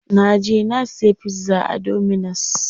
Na je na siya pizza a dominus.